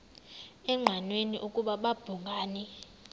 engqanweni ukuba babhungani